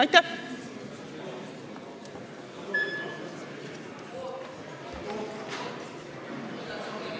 Aitäh!